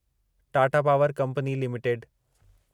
Tata power company limited